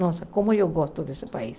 Nossa, como eu gosto desse país.